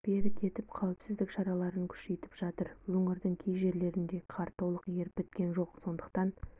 берік етіп қауіпсіздік шараларын күшейтіп жатыр өңірдің кей жерлерінде қар толық еріп біткен жоқ сондықтан